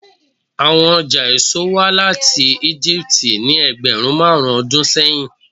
Awọn ọja eso wa lati Egipti ni ẹgbẹrun marun ọdun sẹyin